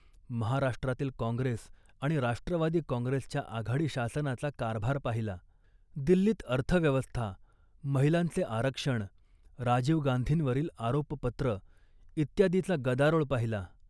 महाराष्ट्रातील काँग्रेस आणि राष्ट्रवादी काँग्रेसच्या आघाडी शासनाचा कारभार पाहिला. दिल्लीत अर्थव्यवस्था, महिलांचे आरक्षण, राजीव गांधींवरील आरोपपत्र इत्यादीचा गदारोळ पाहिला